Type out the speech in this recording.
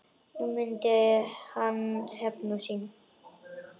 Nú myndi hann hefna sín.